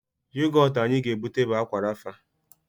Yogọtụ anyị ga-ebute bụ Ákwà Rafa